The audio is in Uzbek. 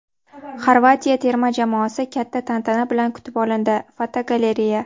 Xorvatiya terma jamoasi katta tantana bilan kutib olindi (fotogalereya).